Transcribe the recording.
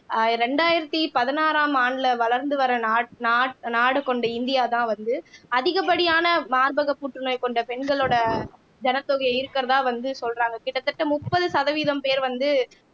ஆஹ் ரெண்டாயிரத்தி பதினாறாம் ஆண்டுல வளர்ந்து வர்ற நா நா நாடு கொண்ட இந்தியாதான் வந்து அதிகப்படியான மார்பக புற்றுநோய் கொண்ட பெண்களோட ஜனத்தொகையும் இருக்கிறதா வந்து சொல்றாங்க கிட்டத்தட்ட முப்பது சதவீதம் பேர் வந்து